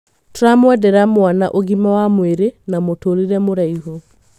Tũramwendera mwana ũgima wa mwĩrĩ na mũtũrĩrĩ mũraihu.